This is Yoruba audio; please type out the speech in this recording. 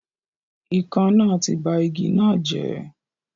Ikán náà ti ba igi náà jẹ́